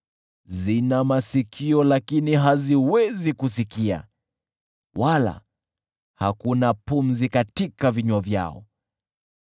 zina masikio, lakini haziwezi kusikia, wala hakuna pumzi katika vinywa vyao.